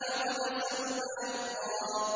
وَلَسَوْفَ يَرْضَىٰ